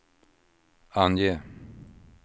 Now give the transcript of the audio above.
ange